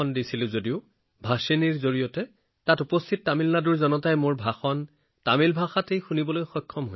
মঞ্চৰ পৰা হিন্দীত সম্বোধন কৰি আছিলো কিন্তু মই সেই মুহূৰ্তত আগবঢ়োৱা ভাণষ তামিলনাডুৰ থকা লোকসকলে ভাষিণীৰ জৰিয়তে তামিল ভাষাত শুনিব পাৰিছিল